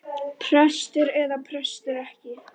Prestur eða prestur ekki.